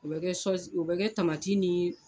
U bɛ kɛ u bɛ kɛ tamati ni